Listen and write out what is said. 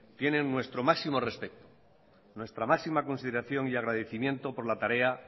tienen nuestro máximo respeto nuestra máxima consideración y agradecimiento por la tarea